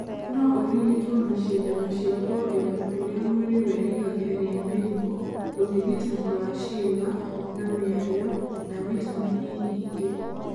No ũrigitwo na cindano cia kũongerera ũrĩa mwĩrĩ wĩrigagĩrĩria mĩrimũ, ũrigitani wa ciĩga na mĩario na vitameni nyingĩ.